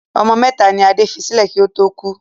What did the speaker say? Ọmọ mẹ́ta ni Adé fi sílẹ̀ kí ó tó kú.